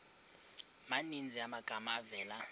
maninzi amagama avela